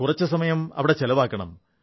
കുറച്ചു സമയം അവിടെ ചിലവാക്കണം